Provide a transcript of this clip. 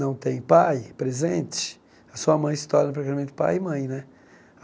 não tem pai presente, a sua mãe se torna, pai e mãe, né?